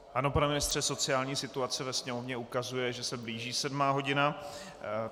Ano, pane ministře, sociální situace ve Sněmovně ukazuje, že se blíží sedmá hodina.